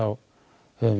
höfum